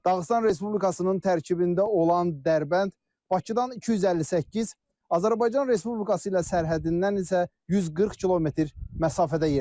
Dağıstan Respublikasının tərkibində olan Dərbənd Bakıdan 258, Azərbaycan Respublikası ilə sərhəddindən isə 140 km məsafədə yerləşir.